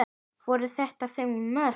Voru þetta fimm mörk?